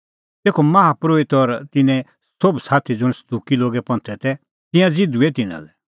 तेखअ माहा परोहित और तिन्नें सोभ साथी ज़ुंण सदुकी लोगे पंथे तै तिंयां ज़िधूऐ तिन्नां लै